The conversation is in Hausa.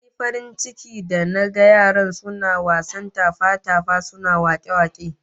Nayi farin ciki da naga yaran suna wasan tafa-tafa, suna wake-wake